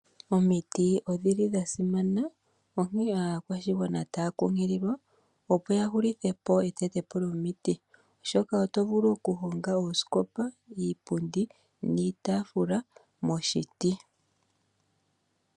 Omiti odhi li dha simana onkene aakwashigwana otaya kunkililwa opo ya hulithe po etetepo lyomiti, oshoka oto vulu okuhonga oosikopa, iipundi niitafula moshiti.